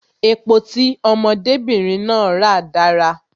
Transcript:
Epo tí ọmọdé bìnrin náà ra dára